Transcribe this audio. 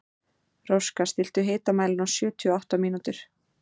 Róska, stilltu tímamælinn á sjötíu og átta mínútur.